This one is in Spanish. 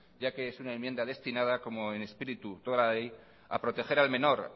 ya que es una enmienda destinada como espíritu de toda la ley a proteger al menor